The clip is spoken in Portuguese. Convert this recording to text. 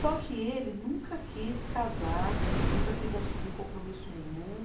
Só que ele nunca quis casar, nunca quis assumir compromisso nenhum.